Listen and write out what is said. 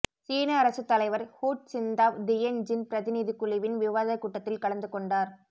சீன அரசுத் தலைவர் ஹூச்சிந்தாவ் தியென் ஜின் பிரதிநிதிக்குழுவின் விவாதக்கூட்டத்தில் கலந்து கொண்டார்